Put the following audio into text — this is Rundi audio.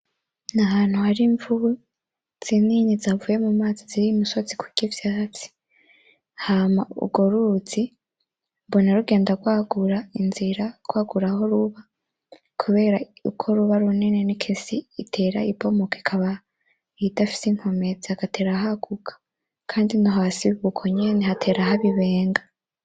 N'ahantu har'imvubu zinini zavuye mumazi zuriye umusozi kurya ivyatsi, hama urwo ruzi mbona rugenda rwagura inzira rwagura aho ruba kubera uko ruba runini niko isi itera ibomoka ikaba idafise inkomezi hagatera haguka, kandi no hasi biba uko nyene hagatera haba ibenga.